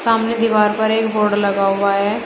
सामने दीवार पर एक बोर्ड लगा हुआ है।